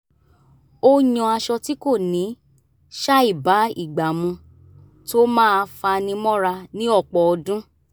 ó yan aṣọ tí kò ní ṣàìbá ìgbà mu tó máa fani mọ́ra ní ọ̀pọ̀ ọdún